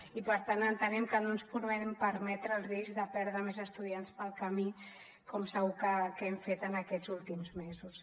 i per tant entenem que no ens podem permetre el risc de perdre més estudiants pel camí com segur que hem fet en aquests últims mesos